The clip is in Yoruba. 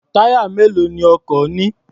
Táyà mélòó ni ọkọ̀ ní?